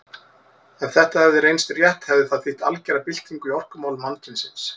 Ef þetta hefði reynst rétt hefði það þýtt algera byltingu í orkumálum mannkynsins.